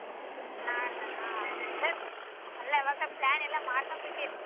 ನಾಡ್ದ ಹ್ಮ ಅಲ್ಲ ಯಾವಾಗ್ plan ಎಲ್ಲಾ ಮಾಡ್ಕೊಂಬಿಟೀರ್.